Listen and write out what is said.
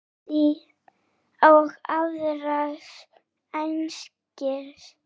er sátt og iðrast einskis